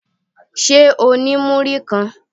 Ṣé o ní múrí kan?